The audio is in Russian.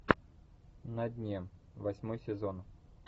на дне восьмой сезон